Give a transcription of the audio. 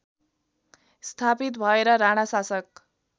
स्थापित भएर राणाशासक